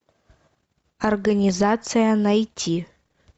организация найти